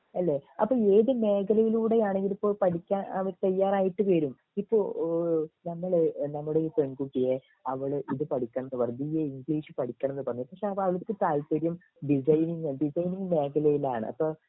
ഏഹ് അല്ലെ അപ്പൊ ഏത് മേഖലയിലൂടെ ആണ് ഇവരിപ്പോൾ പഠിക്കാൻ തയ്യാറായിട്ട് വരും ഇപ്പൊ ഏഹ് നമ്മൾ നമ്മടെ ഈ പെൺകുട്ടിയെ അവള് ഇത് പഠിക്കണം എന്ന് പറഞ്ഞ് ബിഎ ഇംഗ്ലീഷ് പഠിക്കണം എന്ന് പറഞ്ഞ് പക്ഷെ അവൾക്ക് താല്പര്യം ഡിസൈനിങ് ആണ് ഡിസൈനിങ് മേഖലയിലാണ്